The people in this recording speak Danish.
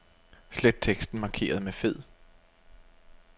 Slet teksten markeret med fed.